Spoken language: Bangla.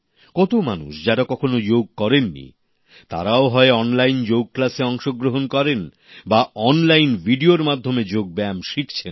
কত মানুষ যারা কখনো যোগ করেননি তারাও হয় অনলাইন যোগ ক্লাসে অংশগ্রহণ করে বা অনলাইন ভিডিওর মাধ্যমে যোগ ব্যায়াম শিখছেন